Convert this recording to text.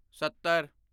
ਸੱਤਰ